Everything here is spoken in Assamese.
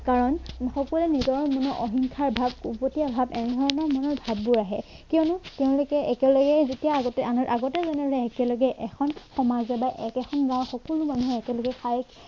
কাৰণ সকলোৱে নিজৰ মনৰ অহিংসাৰ ভাৱ উভতি অহাত এনেধৰণৰ মনোভাৱবোৰ আহে কিয়নো তেওঁলোকে একেলগে যেতিয়া আগতে আমি আগতে যেনেকে একেলগে এখন সমাজে বা এখন গাৱঁৰ সকলো মানুহে একেলগে খায়